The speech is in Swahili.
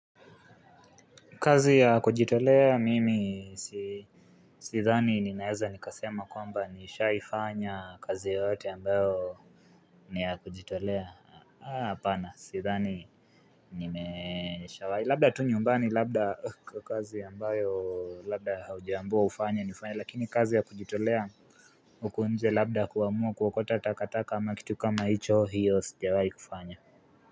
Kazi ya kujitolea mimi sidhani ninaweza nikasema kwamba nishaifanya kazi yoyote ambayo ni ya kujitolea. Hapana, sidhani nimeshawahi, labda tu nyumbani labda kazi ambayo labda haujambiwa ufanye ni ufanye. Lakini kazi ya kujitolea huku nje labda kuamua kuokota takataka ama kitu kama hicho, hiyo sijawai kufanya.